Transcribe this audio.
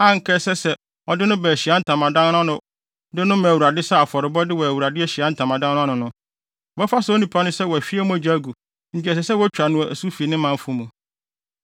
a anka ɛsɛ sɛ ɔde no ba Ahyiae Ntamadan no ano hɔ de no ma Awurade sɛ afɔrebɔde wɔ Awurade Ahyiae Ntamadan no ano no, wɔbɛfa saa onipa no sɛ wahwie mogya agu enti ɛsɛ sɛ wotwa no asu fi ne manfo mu.